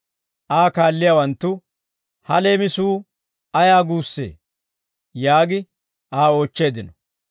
Aa kaalliyaawanttu, «Ha leemisuu ayaa guussee?» yaagi Aa oochcheeddino.